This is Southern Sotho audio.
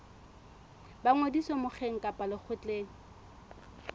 ba ngodiso mokgeng kapa lekgotleng